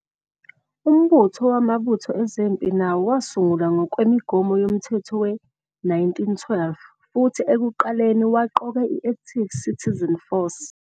Umbutho wamabutho ezempi nawo wasungulwa ngokwemigomo yoMthetho we-1912 futhi ekuqaleni waqoka i-Active Citizen Force